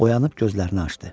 Oyanıb gözlərini açdı.